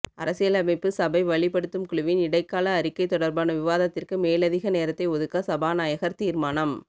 அரசியலமைப்பு சபை வழிப்படுத்தும் குழுவின் இடைக்கால அறிக்கை தொடர்பான விவாதத்திற்கு மேலதிக நேரத்தை ஒதுக்க சபாநாயகர் தீர்மானம்